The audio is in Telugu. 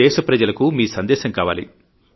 దేశప్రజలకు మీ సందేశం కావాలి